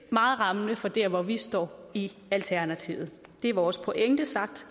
meget rammende for der hvor vi står i alternativet det er vores pointe sagt